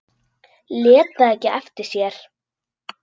Lét það ekki eftir sér.